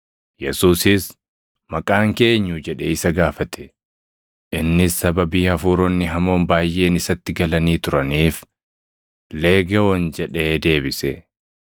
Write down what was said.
Yesuusis, “Maqaan kee eenyu?” jedhee isa gaafate. Innis sababii hafuuronni hamoon baayʼeen isatti galanii turaniif, “Leegewoon” jedhee deebise.